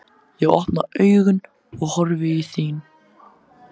Ég opna augun og horfi í þín.